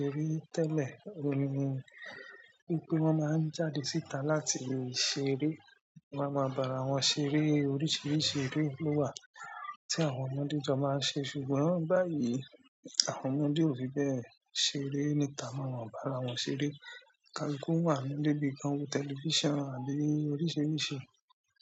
Serí tẹ́lẹ̀, orí ni gbígbé wọn máa ń jáde síta láti lọ ṣeré. Wọ́n máa ń bára wọn ṣeré oríṣiríṣi eré ló wà tí àwọn ọmọdé jọ máa ń ṣe ṣùgbọ́n báyìí, àwọn ọmọdé ò fi bẹ́ẹ̀ ṣeré níta, máa ń bára wọn ṣeré kálukú wà nínú ibi kan, tẹlifíṣàn wa ni oríṣiríṣi.